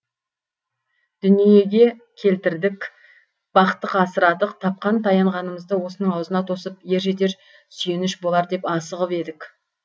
дүниеге келтірдік бақтық асырадық тапқан таянғанымызды осының аузына тосып ер жетер сүйеніш болар деп асығып едік